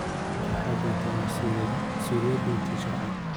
Waalidiintu waxay bartaan mas'uuliyadahooda sharci.